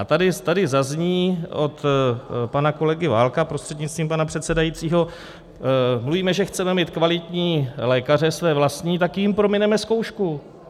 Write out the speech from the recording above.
A tady zazní od pana kolegy Válka prostřednictvím pana předsedajícího - mluvíme, že chceme mít kvalitní lékaře, své vlastní, tak jim promineme zkoušku.